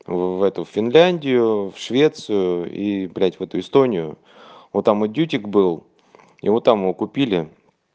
в эту финляндию в швецию и блять в эту истонию вот там дьютик был его том вот купили